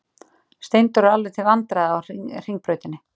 Steindór er alveg til vandræða á Hringbrautinni.